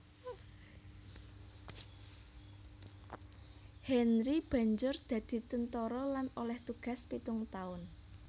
Henry banjur dadi tentara lan oleh tugas pitung taun